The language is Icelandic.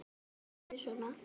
Hann hefur alltaf verið svona.